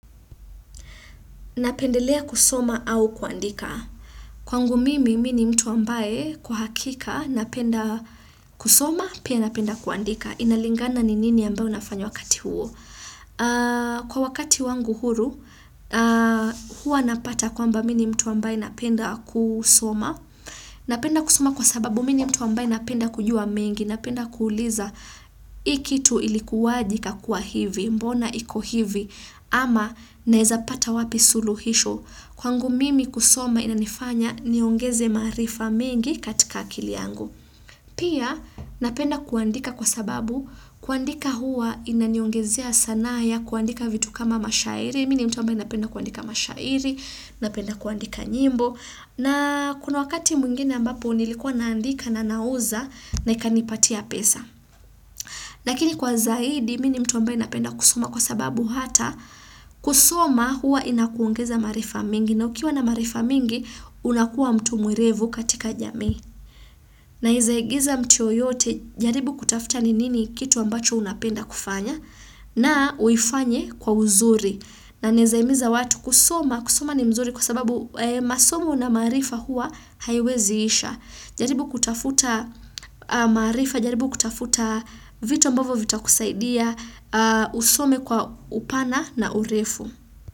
Napendelea kusoma au kuandika. Kwangu mimi, mimi mtu ambaye kwa hakika napenda kusoma, pia napenda kuandika. Inalingana ni nini ambayo nafanyo wakati huo. Kwa wakati wangu huru, hua napata kwamba mi ni mtu ambaye napenda kusoma. Napenda kusoma kwa sababu mini mtu ambaye napenda kujua mengi. Napenda kuuliza hii kitu ilikuwaje ikakuwa hivi, mbona iko hivi. Ama naezapata wapi suluhisho kwangu mimi kusoma inanifanya niongeze maarifa mingi katika akili yangu. Pia napenda kuandika kwa sababu kuandika hua inaniongezea sanaa kuandika vitu kama mashairi. Mi ni mtu ambaye napenda kuandika mashairi. Napenda kuandika nyimbo. Na kuna wakati mwingine ambapo nilikuwa naandika na nauza na ikanipatia pesa. Lakini kwa zaidi mi ni mtu ambaye napenda kusoma kwa sababu hata kusoma hua inakuongeza maarifa mingi na ukiwa na marifa mingi unakuwa mtu mwerevu katika jamii. Neza igiza mtu yeyote jaribu kutafuta ni nini kitu ambacho unapenda kufanya na uifanye kwa uzuri. Na neza imiza watu kusoma kusoma ni mzuri kwa sababu masomo na maarifa hua haiweziisha. Jaribu kutafuta maarifa, jaribu kutafuta vitu mbavyo vitu kusaidia, usome kwa upana na urefu.